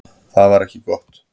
Það var ekki gott.